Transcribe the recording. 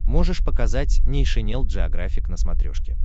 можешь показать нейшенел джеографик на смотрешке